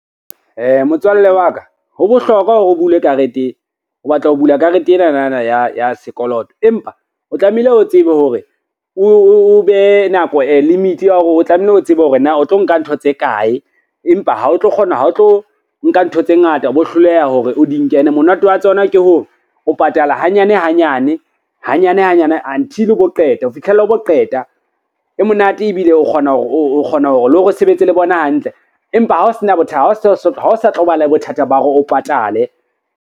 Motswalle wa ka ho bohlokwa hore o batla ho bula karete ena na ya sekoloto, empa o tlamehile o tsebe hore o behe nako limit ya hore o tlamehile o tsebe hore na o tlo nka ntho tse kae, empa ha o tlo nka ntho tse ngata o bo hloleha hore o di nke ene monate wa tsona ke hore, o patala hanyane hanyane hanyane hanyane until o bo qeta, ho fitlhela o bo qeta. E monate ebile o kgona hore le hore o sebetse le bona hantle, empa ha o sa tlo ba le bothata ba hore o patale.